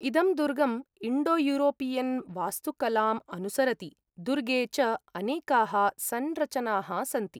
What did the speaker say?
इदं दुर्गम् इण्डोयूरोपियन् वास्तुकलाम् अनुसरति, दुर्गे च अनेकाः संरचनाः सन्ति।